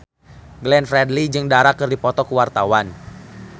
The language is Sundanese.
Glenn Fredly jeung Dara keur dipoto ku wartawan